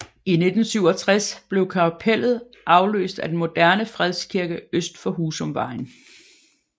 I 1967 blev kapellet afløst af den moderne Fredskirke øst for Husumvejen